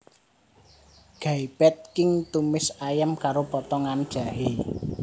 Gai Pad Khing tumis ayam karo potongan jahé